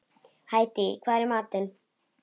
Hædý, hvað er í matinn?